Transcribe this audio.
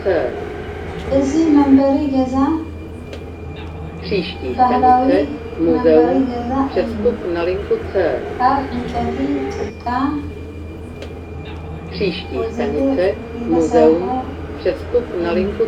እዙ መንበሪ ገዛ ባህላዊ መንበሪ ገዛ እዩ ካብ ዕንጨይቲ ፣ጭቃ ወዘተ ዝተሠርሐ እዩ።